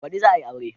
Baɗi za a yi aure